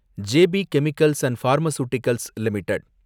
J P chemicals and pharmaceuticals limited